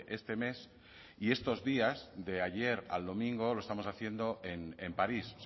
este mes y estos días de ayer al domingo lo estamos haciendo en paris